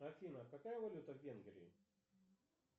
афина какая валюта в венгрии